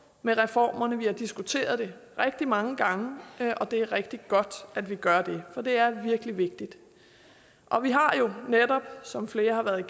med reformerne vi har diskuteret det rigtig mange gange og det er rigtig godt at vi gør det for det er virkelig vigtigt og vi har jo netop som flere har været